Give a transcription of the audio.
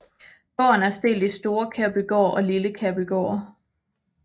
Gården er delt i Store Kærbygård og Lille Kærbygård